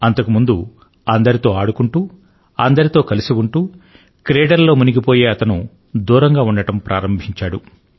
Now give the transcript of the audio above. అంతకు ముందు అందరితో ఆడుకుంటూ అందరితో కలిసి ఉంటూ క్రీడలలో మునిగిపోయే ఆయన దూరంగా ఉండడం ప్రారంభించాడు